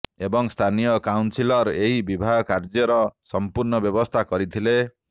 ଏବଂ ସ୍ଥାନୀୟ କାଉସିଲର ଏହି ବିବାହ କାର୍ଯ୍ୟର ସମ୍ପୁର୍ଣ୍ଣ ବ୍ୟାବସ୍ଥା କରିଥିଲେ